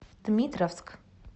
дмитровск